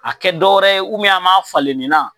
A kɛ dɔwɛrɛ ye an m'a falen nin na.